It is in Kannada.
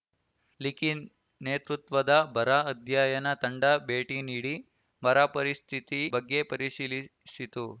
ಲಿಖಿನ್ ನೇತೃತ್ವದ ಬರ ಅಧ್ಯಯನ ತಂಡ ಭೇಟಿ ನೀಡಿ ಬರ ಪರಿಸ್ಥಿತಿ ಬಗ್ಗೆ ಪರಿಶಿಲಿ ಸಿತು